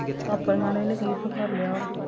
ਆਪਣੀਆ ਨੂੰ ਇਹਨੇ ਕੀ ਸਿਖਾਲਿਆ ਵਾ